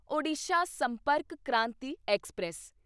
Odisha Sampark Kranti express